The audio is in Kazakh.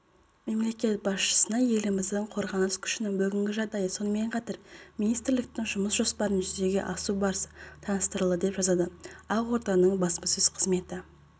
мемлекет басшысына еліміздің қорғаныс күшінің бүгінгі жағдайы сонымен қатар министрліктің жұмыс жоспарының жүзеге асу барысы таныстырылды деп жазады ақорданың баспасөз қызметі